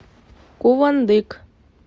кувандык